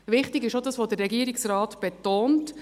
Wichtig ist auch das, was der Regierungsrat betont: